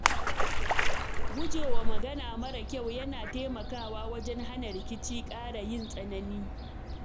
Guje wa magana mara kyau yana taimakawa wajen hana rikici ƙara yin tsanani.